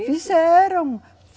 Isso? Fizeram.